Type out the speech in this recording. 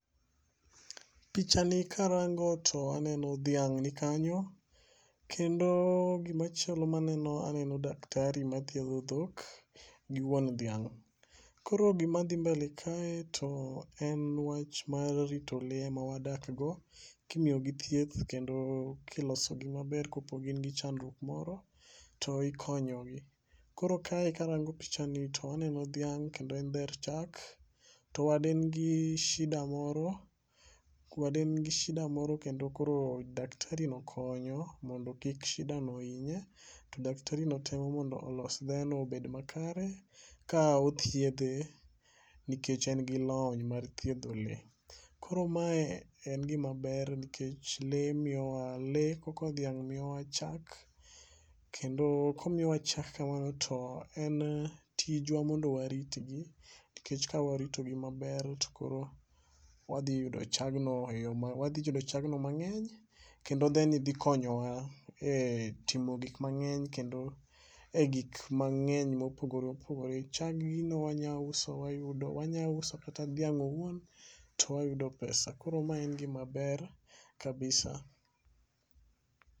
Pichani karango to aneno dhiang' nikanyo. Kendo gima chalo maneno aneno daktari mathiedho dhok gi wuon dhiang'. Koro gima dhi mbele kae to en wach mar rito le ma wadk go kimiyogi thieth kendo kilosogi maber kopo gin gi chandruok moro to ikonyo gi. Koro kae karango picha ni to aneno dhiang' kendo en dher chak. To wad en gi shida moro. Wad en gi shida moro kendo kor daktari no konyo mondo kik shida no hinye. To daktari no temo mondo olos dhe no obed makare ka othiedhe nikech en gi lony mar thiedho le. Koro ma en gima ber nikech le miyowa le koko dhiang' miyo wa chak. Kendo komiyowa chak kamano to en tijwa mondo waritgi. Nikech ka waritogi maber to koro wadhi yudo chagno e yo wadhi yudo chagno mang'eny kendo dhe ni dhi konyowa e timo gik mang'eny kendo e gik mang'eny mopogore opogore. Chag gi no wanya uso wayudo wanya uso kata dhiang' owuon to wayudo pesa. Koro ma en gima ber kabisa.